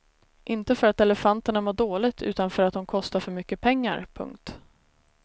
Inte för att elefanterna mår dåligt utan för att de kostar för mycket pengar. punkt